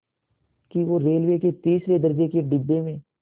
कि वो रेलवे के तीसरे दर्ज़े के डिब्बे में